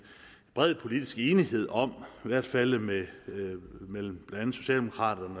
bred politisk enighed om i hvert fald mellem mellem socialdemokraterne